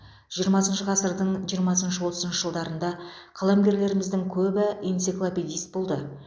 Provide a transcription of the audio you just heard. жиырмасыншы ғасырдың жиырмасыншы отызыншы жылдарында қаламгерлеріміздің көбі энциклопедист болды